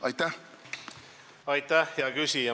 Aitäh, hea küsija!